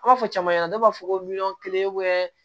An b'a fɔ caman ɲɛna ne b'a fɔ ko miliyɔn kelen